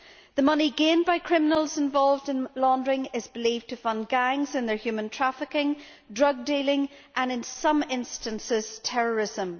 The money gained by criminals involved in laundering is believed to fund gangs involved in human trafficking, drug dealing and, in some instances, terrorism.